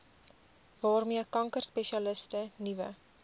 waarmee kankerspesialiste nuwe